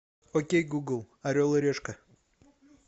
окей гугл орел и решка